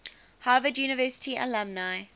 harvard university alumni